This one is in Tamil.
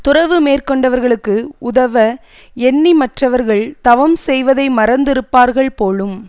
துறவு மேற்கொண்டவர்களுக்கு உதவ எண்ணி மற்றவர்கள் தவம் செய்வதை மறந்து இருப்பார்கள் போலும்